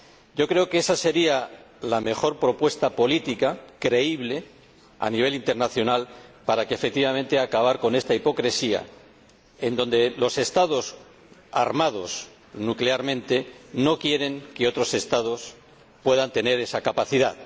Yo creo que esa sería la mejor propuesta política creíble, a nivel internacional, para acabar efectivamente con esta hipocresía, por la cual los Estados armados nuclearmente no quieren que otros Estados puedan tener esa capacidad.